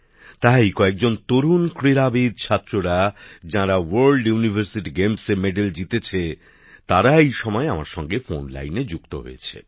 তাই কয়েকজন তরুণ ক্রীড়াবিদ যারা আসলে পড়াশোনা করছেন আবার আন্তর্জাতিক বিশ্ববিদ্যালয় ক্রীড়া প্রতিযোগিতায় পদক জিতেছেন তারা এই সময় আমার সঙ্গে ফোন লাইনে যুক্ত হয়েছেন